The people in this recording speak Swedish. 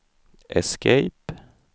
escape